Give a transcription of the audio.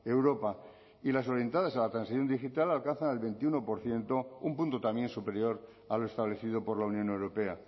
europa y las orientadas a la transición digital alcanzan el veintiuno por ciento un punto también superior a lo establecido por la unión europea